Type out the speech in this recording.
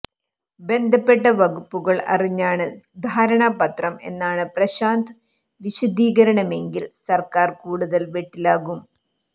ബന്ധപ്പെട്ട വകുപ്പുകൾ അറിഞ്ഞാണ് ധാരണാപത്രം എന്നാണ് പ്രശാന്ത് വിശദീകരണമെങ്കിൽ സർക്കാർ കൂടുതൽ വെട്ടിലാകും